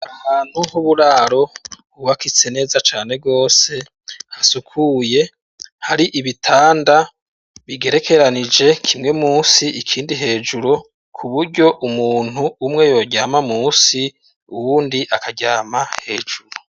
Ahantu h'uburaro hubakitse neza cane gose, hasukuye, hari ibitanda bigerekeranije, kimwe musi, ikindi hejuru, ku buryo umuntu umwe yoryama musi, uwundi akaryama hejuru.